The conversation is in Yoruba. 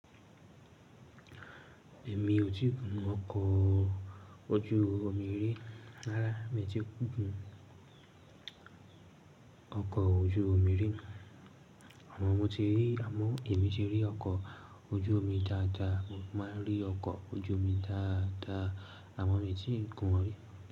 Èmi ò tíì gun ọkọ̀ ojú omi rí. Rárá, mi ò tíì gun ọkọ̀ ojú omi rí. Àmo mọ mi ti rí, àmọ́ èmi ti rí ọkọ̀ ojú omi dáadáa. Mo máa rí ọkọ̀ ojú omi dáadáa. Àwọn mi tì ń gùn rí.